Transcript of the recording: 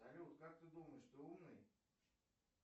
салют как ты думаешь ты умный